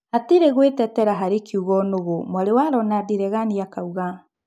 Hatirĩ gũĩtetera harĩkiugo "nũgũ" , mwarĩ wa Ronandi Regani akauga.